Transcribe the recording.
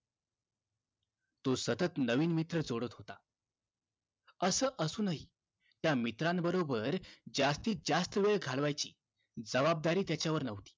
असं असून हि त्या मित्रांबरोबर जास्तीतजास्त वेळ घालवायचिं जवाबदारी त्याच्यावर न्हवती तो सतत नवीन मित्र जोडत होता